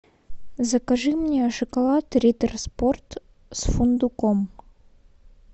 закажи мне шоколад риттер спорт с фундуком